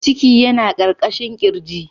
Ciki yana ƙarƙashin ƙirji.